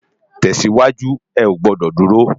Tèsiwájú, è ó gbòdò dúró